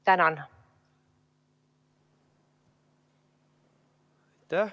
Tänan!